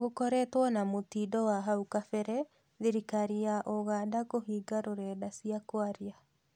Gũkoretwe na mũtindo wa hau kabere thirirkari ya Uganda kũhinga rũrenda cia kwaria